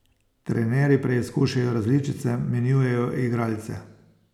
Trenerji preizkušajo različice, menjujejo igralce.